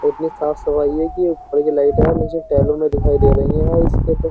इतनी साफ सफाई है कि ऊपर की लाइट और नीचे टैलो में दिखाई दे रही है यार इसके तो --